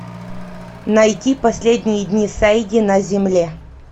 найти последние дни сэйди на земле